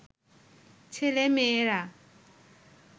ছেলে-মেয়েরা